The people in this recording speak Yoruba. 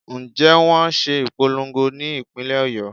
Ǹjẹ́ wón ṣe ìpolongo ní ìpínlè Ọ̀yọ́.